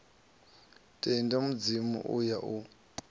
tendi mudzimu u ya u